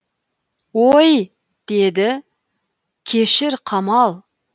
ой деді кешір қамал